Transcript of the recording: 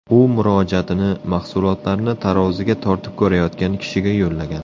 U murojaatini mahsulotlarni taroziga tortib ko‘rayotgan kishiga yo‘llagan.